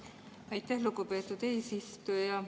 Aitäh, lugupeetud eesistuja!